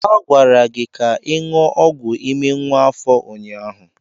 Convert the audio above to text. A gwara gị ka ị ṅụọ ọgwụ ime nwa afọ ụnyaahụ.